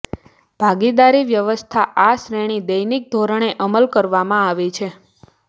ભાગીદારી વ્યવસ્થા આ શ્રેણી દૈનિક ધોરણે અમલ કરવામાં આવે છે